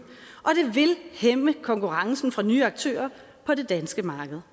hæmme konkurrencen fra nye aktører på det danske marked